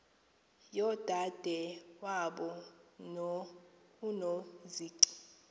yodade wabo unozici